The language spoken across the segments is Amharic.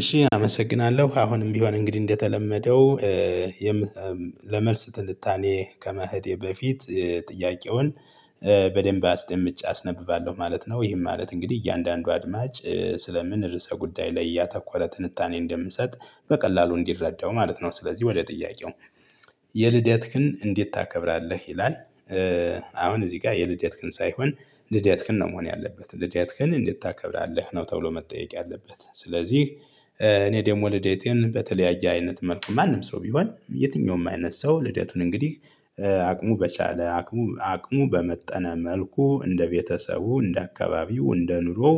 እሺ አመሰግናለሁ አሁንም ቢሆን እንግዲህ እንደተለመደው ለመልስ ትንታኔየ ከመሄዴ በፊት ጥያቄውን በደንብ አስደምጬ አስነብባለሁ ማለት ነው። ይህን ማለት እንግዲህ እያንዳንዱ አድማጭ ስለምን ርዕሰ ጉዳይ ላይ ያተኮረ ትንታኔ እንደምንሰጥ በቀላሉ እንዲረዳው ማለት ነው። ስለዚህ ወደ ጥያቄው የልደትክን እንዴት ታከብራለህ ይላል? አሁን እዚህ ጋር የልደትክን ሳይሆን ልደትክን ነው መሆን ያለበት ልደትክን እንዴት ታከብራለህ ነው ተብሎ መጠየቅ ያለበት ስለዚህ። እኔ ደግሞ ልደቴን በተለያየ አይነት መልኩ ማንም ሰው ቢሆን የትኛውም አይነት ሰው ልደቱን እንግዲህ አቅሙ በቻለ አቅሙ አቅሙ በመጠነ መልኩ እንደ ቤተሰቡ እንደ አካባቢው እንደ ኑሮው።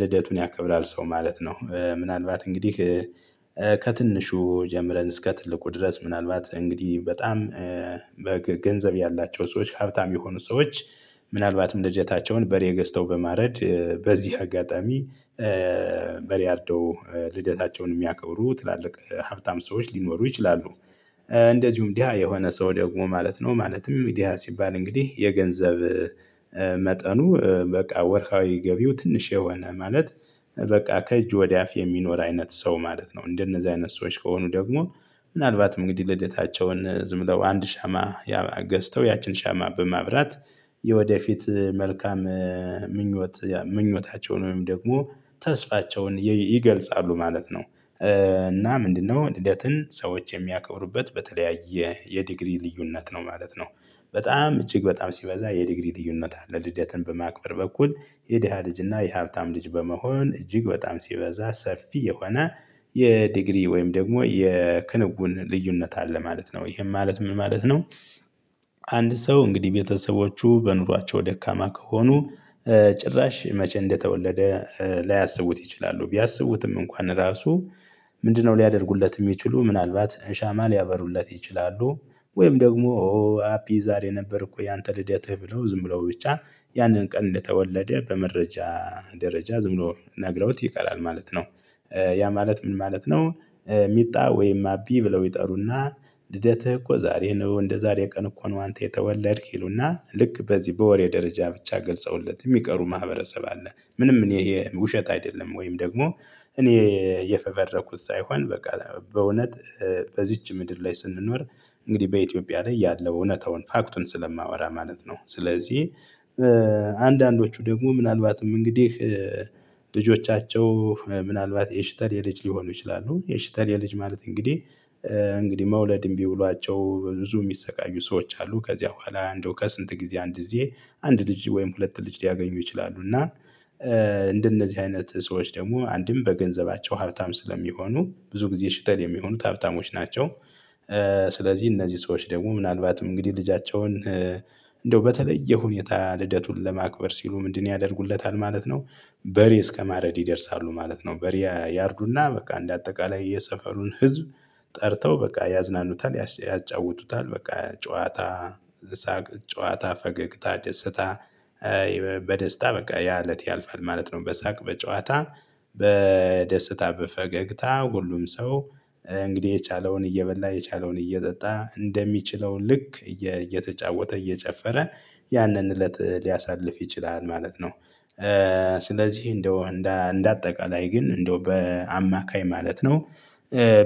ልደቱን ያቀብራል ሰው ማለት ነው። ምናልባት እንግዲህ ከትንሹ ጀምረን እስከ ትልቁ ድረስ ምናልባት እንግዲህ በጣም በገንዘብ ያላቸው ሰዎች ሀብታም የሆኑ ሰዎች ምናልባትም ልደታቸውን በሬ ገዝተው በማረድ በዚህ አጋጣሚ። በሬ አርደው ልደታቸውን የሚያከብሩ ትላልቅ ሀብታም ሰዎች ሊኖሩ ይችላሉ። እንደዚሁም ድሀ የሆነ ሰው ደግሞ ማለት ነው። ማለትም ድሁፐሀ ሲባል እንግዲህ የገንዘብ መጠኑ በቃ ወርሐዊ ገቢው ትንሽ የሆነ ማለት በቃ ከእጅ ወደ አፍ የሚኖር አይነት ሰው ማለት ነው። እንደነዚህ አይነት ሰዎች ከሆኑ ደግሞ ምናልባት እንግዲህ ልደታቸውን ዝም ብለው አንድ ሻማ ገዝተው ያቺን ሻማ በማብራት የወደፊት መልካም ምኞት ምኞታቸውን ወይም ደግሞ ተስፋቸውን ይገልጻሉ ማለት ነው። እና ምንድነው ልደትን ሰዎች የሚያከብሩበት በተለያየ የዲግሪ ልዩነት ነው ማለት ነው። በጣም እጅግ በጣም ሲበዛ የዲግሪ ልዩነት አለ። ልደትን በማክበር በኩል የድሃ ልጅ እና የሀብታም ልጅ በመሆን እጅግ በጣም ሲበዛ ሰፊ የሆነ የዲግሪ ወይም ደግሞ የክንውን ልዩነት አለ ማለት ነው። ይሄን ማለት ምን ማለት ነው? አንድ ሰው እንግዲህ ቤተሰቦቹ በኑሯቸው ደካማ ከሆኑ ጭራሽ መቼ እንደተወለደ ላያስቡት ይችላሉ። ቢያስቡትም እንኳን ራሱ ምንድን ነው ሊያደርጉለት የሚችሉ ምናልባት ሻማ ሊያበሩለት ይችላሉ። ወይም ደግሞ ኦ አቢ ዛሬ ነበር እኮ ያንተ ልደትህ ብለው ዝም ብለው ብቻ ያንን ቀን እንደተወለደ በመረጃ ደረጃ ዝም ብሎ ነግረውት ይቀራል ማለት ነው። ያ ማለት ምን ማለት ነው? ሚጣ ወይም አቢ ብለው ይጠሩና ልደትህ እኮ ዛሬ ነው እንደዛሬ ቀን እኮ ነው አንተ የተወለድክ ይሉና ልክ በዚህ በወሬ ደረጃ ብቻ ገልጸውለት የሚቀሩ ማህበረሰብ አለ። ምንም እኔ ይሄ ውሸት አይደለም ወይም ደግሞ እኔ የፈበረኩት ሳይሆን በቃ በእውነት በዚች ምድር ላይ ስንኖር እንግዲህ በኢትዮጵያ ላይ ያለው እውነታውን ፋክቱን ስለማወራ ማለት ነው። ስለዚህ። አንዳንዶቹ ደግሞ ምናልባትም እንግዲህ ልጆቻቸው ምናልባት የሽተሌ የልጅ ሊሆኑ ይችላሉ የሽተሌ የልጅ ማለት እንግዲህ እንግዲህ መውለድ እምቢ ብሏቸው ብዙ የሚሰቃዩ ሰዎች አሉ። ከዚያ በኋላ እንደው ከስንት ጊዜ አንድ ጊዜ አንድ ልጅ ወይም ሁለት ልጅ ሊያገኙ ይችላሉ እና እንደነዚህ አይነት ሰዎች ደግሞ አንድም በገንዘባቸው ሀብታም ስለሚሆኑ ብዙ ጊዜ ሽተል የሚሆኑት ሀብታሞች ናቸው። ስለዚህ እነዚህ ሰዎች ደግሞ ምናልባትም እንግዲህ ልጃቸውን እንደው በተለየ ሁኔታ ልደቱን ለማክበር ሲሉ ምንድነው ያደርጉለታል ማለት ነው? በሬ እስከማረድ ይደርሳሉ ማለት ነው። በሬ ያርዱና በቃ እንደ አጠቃላይ የሰፈሩን ህዝብ ጠርተው በቃ ያዝናኑታል ያጫውቱታል በቃ ጨዋታ ሳቅ ጨዋታ ፈገግታ ደስታ። በደስታ በቃ ያ እለት ያልፋል ማለት ነው። በሳቅ በጨዋታ በደስታ በፈገግታ ሁሉም ሰው እንግዲህ የቻለውን እየበላ የቻለውን እየጠጣ እንደሚችለው ልክ እየተጫወተ እየጨፈረ ያንን እለት ሊያሳልፍ ይችላል ማለት ነው። ስለዚህ እንደው እንደ አጠቃላይ ግን እንደው በአማካይ ማለት ነው።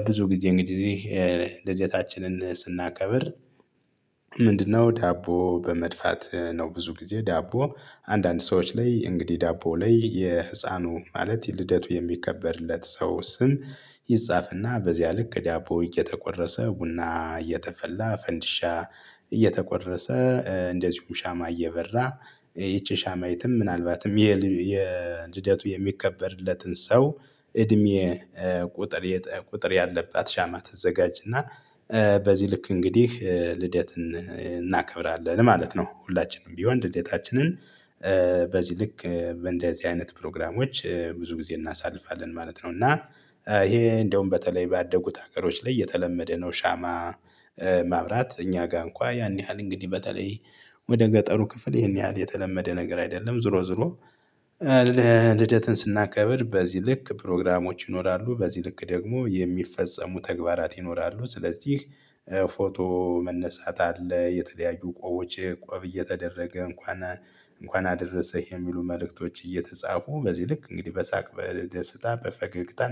ብዙ ጊዜ እንግዲህ ልደታችንን ስናከብር ምንድነው ዳቦ በመድፋት ነው? ብዙ ጊዜ ዳቦ አንዳንድ ሰዎች ላይ እንግዲህ ዳቦ ላይ የህፃኑ ማለት ልደቱ የሚከበርለት ሰው ስም ይጻፍና በዚያ ልክ ዳቦ እየተቆረሰ ቡና እየተፈላ ፈንድሻ እየተቆረሰ እንደዚሁም ሻማ እየበራ ይቺ ሻማይቱም ምናልባትም የልደቱ የሚከበርለትን ሰው እድሜ ቁጥር ቁጥር ያለባት ሻማ ትዘጋጅ። እና በዚህ ልክ እንግዲህ ልደት እናከብራለን ማለት ነው። ሁላችንም ቢሆን ልደታችንን ልክ በእንደዚህ አይነት ፕሮግራሞች ብዙ ጊዜ እናሳልፋለን ማለት ነው። እና ይሄ እንደውም በተለይ ባደጉት ሀገሮች ላይ የተለመደ ነው። ሻማ ማብራት እኛ ጋር እንኳን ያን ያህል እንግዲህ በተለይ ወደ ገጠሩ ክፍል ይሄን ያህል የተለመደ ነገር አይደለም ዞሮ ዞሮ። ልደትን ስናከብር በዚህ ልክ ፕሮግራሞች ይኖራሉ በዚህ ልክ ደግሞ የሚፈጸሙ ተግባራት ይኖራሉ። ስለዚህ ፎቶ መነሳት አለ። የተለያዩ ቆቦች ቆብ እየተደረገ እንኳን እንኳን አደረሰህ የሚሉ መልእክቶች እየተጻፉ በዚህ ልክ እንግዲህ በሳቅ በደስታ በፈገግታ